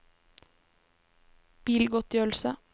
bilgodtgjørelse